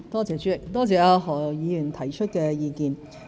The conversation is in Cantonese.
主席，多謝何議員提出的意見。